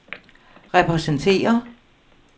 repræsenterer